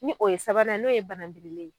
Ni o ye sabanan n'o ye banangirile